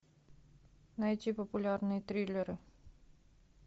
найти популярные триллеры